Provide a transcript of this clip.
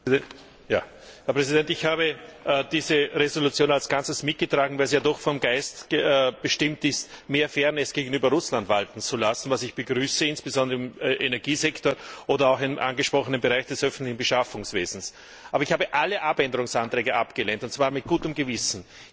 Herr Präsident! Ich habe diese Entschließung als Ganzes mitgetragen, weil sie ja doch vom Geist bestimmt ist, mehr Fairness gegenüber Russland walten zu lassen, was ich begrüße, insbesondere im Energiesektor oder auch im angesprochenen Bereich des öffentlichen Beschaffungswesens. Aber ich habe alle Änderungsanträge abgelehnt, und zwar mit gutem Gewissen.